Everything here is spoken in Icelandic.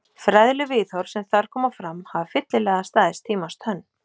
Fræðileg viðhorf sem þar koma fram hafa fyllilega staðist tímans tönn.